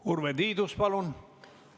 Urve Tiidus, palun!